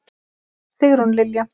Sigrún Lilja.